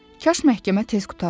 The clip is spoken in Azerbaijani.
Kaş məhkəmə tez qurtaraydı.